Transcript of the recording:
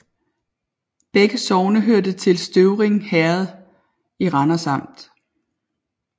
Begge sogne hørte til Støvring Herred i Randers Amt